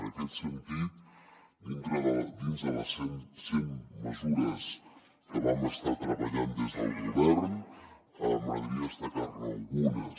en aquest sentit dins de les cent mesures que vam estar treballant des del govern m’agradaria destacar ne algunes